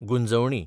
Gunjavani